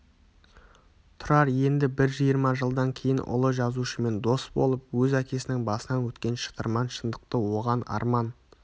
тұрар енді бір жиырма жылдан кейін ұлы жазушымен дос болып өз әкесінің басынан өткен шытырман шындықты оған арман